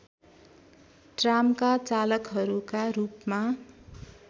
ट्रामका चालकहरूका रूपमा